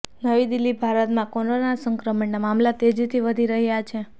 નવી દિલ્હીઃ ભારતમાં કોરોના સંકરમણના મામલા તેજીથી વધી રહ્યા છે